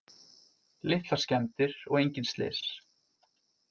Litlar skemmdir og engin slys